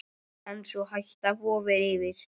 En sú hætta vofir yfir.